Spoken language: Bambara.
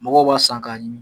Mɔgɔ b'a san k'a ɲimi.